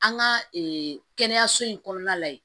An ka kɛnɛyaso in kɔnɔna la yen